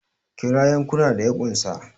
Kira yankuna da ya unsa!